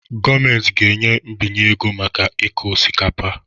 Gọọmenti ga-enye mbinye ego maka ịkụ osikapa